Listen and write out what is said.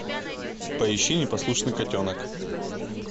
поищи непослушный котенок